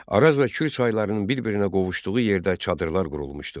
Araz və Kür çaylarının bir-birinə qovuşduğu yerdə çadırlar qurulmuşdu.